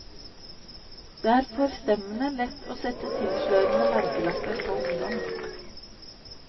Det er forstemmende lett å sette tilslørende merkelapper på ungdom.